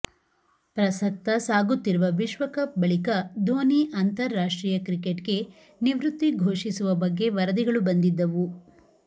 ಪ್ರಸಕ್ತ ಸಾಗುತ್ತಿರುವ ವಿಶ್ವಕಪ್ ಬಳಿಕ ಧೋನಿ ಅಂತಾರಾಷ್ಟ್ರೀಯ ಕ್ರಿಕೆಟ್ಗೆ ನಿವೃತ್ತಿ ಘೋಷಿಸುವ ಬಗ್ಗೆ ವರದಿಗಳು ಬಂದಿದ್ದವು